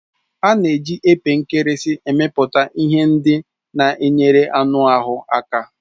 A na-eji epe nkirisi emepụta ihe ndị na enyere ọnuahu aka.